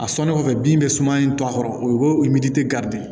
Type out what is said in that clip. A sɔnnen kɔfɛ bin bɛ suman in to a kɔrɔ o ye o ye min tɛ garidi ye